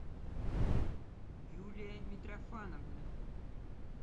юлия митрофановна